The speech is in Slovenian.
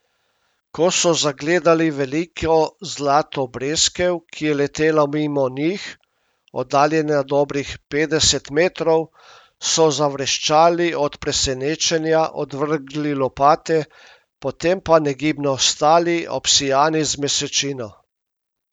Ko so zagledali veliko zlato breskev, ki je letela mimo njih, oddaljena dobrih petdeset metrov, so zavreščali od presenečenja, odvrgli lopate, potem pa negibno stali, obsijani z mesečino.